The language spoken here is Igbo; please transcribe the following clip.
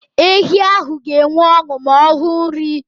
Ehi ahụ ga enwe ọṅụ ma ọhụ nri